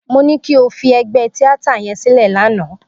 Mo ní kí o fi ẹgbẹ́ tíátà yẹn sílẹ̀ lánàá.